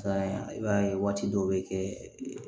i b'a ye waati dɔ bɛ kɛ